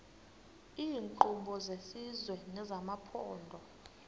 iinkqubo zesizwe nezamaphondo